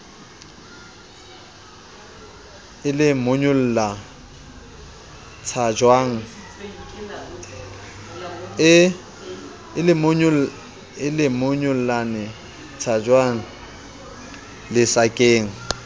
e lemonyollane o tshajwang lesakeng